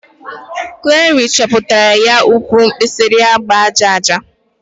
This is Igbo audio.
Clari chepụtara ya uwe mkpirisi agba aja aja.